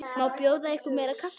Má bjóða ykkur meira kaffi?